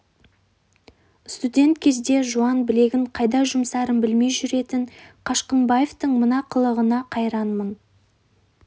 студент кезде жуан білегін қайда жұмсарын білмей жүретін қашқынбаевтың мына қылығына қайранмын